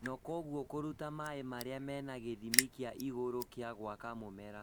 na kwoguo kũruta mai marĩa mena gĩthimi kĩa igũrũ gĩa gwaka mũmera